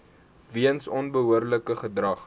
weens onbehoorlike gedrag